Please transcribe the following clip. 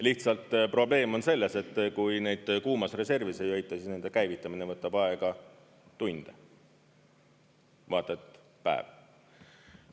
Lihtsalt probleem on selles, et kui neid kuumas reservis ei hoita, siis nende käivitamine võtab aega tunde, vaata et päev.